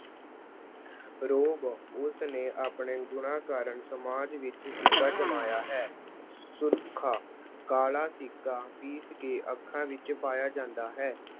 ਰੋਹਬ- ਉਸਨੇ ਆਪਣੇ ਗੁਣਾਂ ਕਾਰਨ ਸਮਾਜ ਵਿੱਚ ਸਿੱਕਾ ਜਮਾਇਆ ਹੈ। ਸੁਰਖਾ- ਕਾਲਾ ਸਿੱਕਾ ਪੀਸ ਕੇ ਅੱਖਾਂ ਵਿੱਚ ਪਾਇਆ ਜਾਂਦਾ ਹੈ।